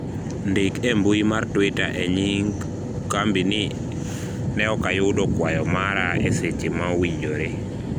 ndik e mbui mar twita e nying kambi ni ne ok ayudo kwayo mara eseche ma owinjore